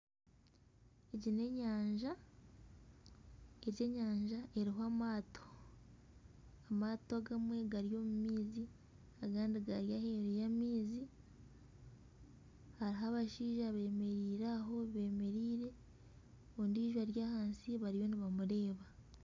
Egi n'enyanja. Egi enyanja eriho amaato. Amaato agamwe gari omu maizi, agandi gari aheeru y'amaizi. Hariho abashaija beemereire aho beemereire, ondiijo ari ahansi bariyo nibamureeba